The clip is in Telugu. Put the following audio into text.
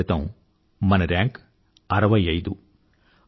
ఐదేళ్లక్రితం మన ర్యాంక్ 65